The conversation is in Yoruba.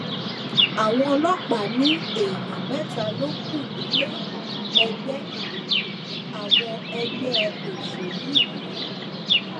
àwọn ọlọpàá ní èèyàn mẹta ló kù nílé ẹgbẹ àwọn ẹgbẹ òṣèlú yìí